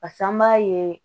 Pase an b'a ye